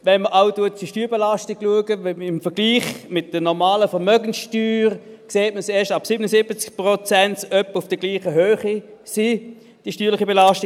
Wenn man auch die Steuerbelastung betrachtet im Vergleich mit der normalen Vermögenssteuer, sieht man erst ab 77 Prozent, dass die steuerlichen Belastungen etwa auf der gleichen Höhe sind.